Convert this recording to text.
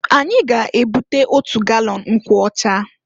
Anyi ga-ebute otu galọn nkwụọcha.